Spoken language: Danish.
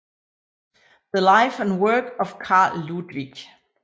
The Life and Work of Carl Ludwig